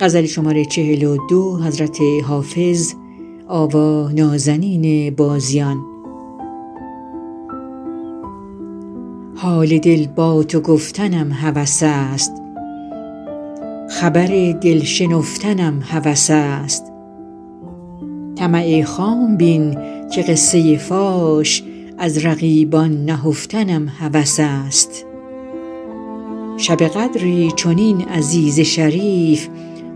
حال دل با تو گفتنم هوس است خبر دل شنفتنم هوس است طمع خام بین که قصه فاش از رقیبان نهفتنم هوس است شب قدری چنین عزیز شریف